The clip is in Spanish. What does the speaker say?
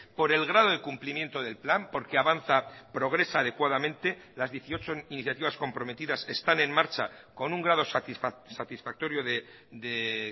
por el grado de cumplimiento del plan porque avanza progresa adecuadamente las dieciocho iniciativas comprometidas están en marcha con un grado satisfactorio de